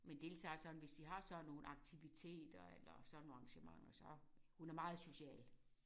Men deltager sådan hvis de har sådan nogle aktiviteter eller sådan nogle arrangementer så. Hun er meget social